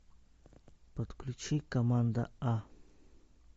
подключи команда а